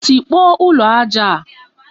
Tikpọọ ụlọ aja a!